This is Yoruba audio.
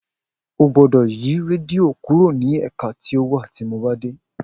O gbódọ̀ yi rédíò kúrò ní ẹ̀ka tí ó wa tí mo bá dé.